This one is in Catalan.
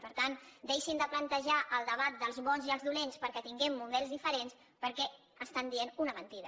per tant deixin de plantejar el debat dels bons i els dolents perquè tinguem models diferents perquè estan dient una mentida